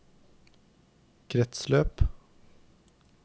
kretsløp